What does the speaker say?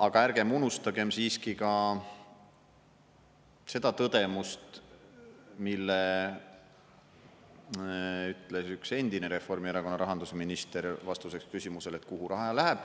Aga ärgem unustagem siiski ka seda tõdemust, mille ütles üks endine Reformierakonna rahandusminister vastuseks küsimusele, et kuhu raha läheb,